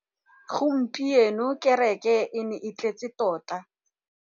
Gompieno kêrêkê e ne e tletse tota.